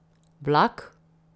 Vlak?